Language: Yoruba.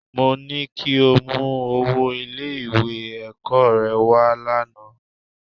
Mo ní kí o mú owó Ilé-ẹ̀kọ́ rẹ wá lánàá